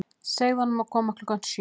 Segðu honum að koma klukkan sjö.